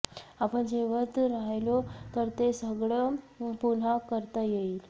आपण जिवंत राहिलो तर ते सगळं पुन्हा करता येईल